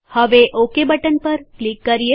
હવે okay button પર click કરીએ